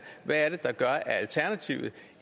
hvad er det der gør at alternativet